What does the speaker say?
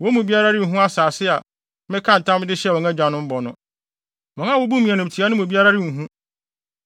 wɔn mu biara renhu asase a mekaa ntam de hyɛɛ wɔn agyanom bɔ no. Wɔn a wobuu me animtiaa no mu biara renhu.